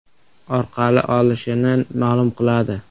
orqali olishini ma’lum qiladi.